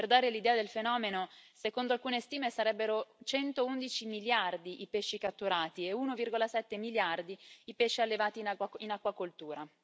Per dare l'idea del fenomeno, secondo alcune stime sarebbero 111 miliardi i pesci catturati e 1,7 miliardi i pesci allevati in acquacoltura.